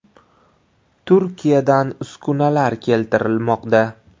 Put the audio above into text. Turkiyadan uskunalar keltirilmoqda.